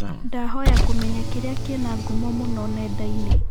ndahoya kũmenya kĩrĩa kĩna ngũmo mũno nendainĩ